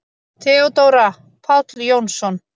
THEODÓRA: Páll Jónsson!